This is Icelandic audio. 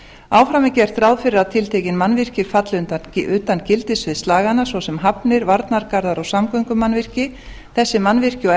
áfram er gert ráð fyrir að tiltekin mannvirki falli utan gildissviðs laganna svo sem hafnir varnargarðar og samgöngumannvirki þessi mannvirki og